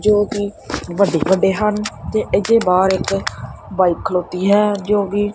ਜੋਕਿ ਵੱਡੇ ਵੱਡੇ ਹਨ ਤੇ ਇਹਦੇ ਬਾਹਰ ਇੱਕ ਬਾਇਕ ਖਲੋਤੀ ਹੈ ਜੋਗੀ--